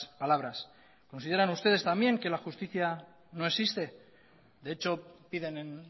palabras consideran ustedes también que la justicia no existe de hecho piden en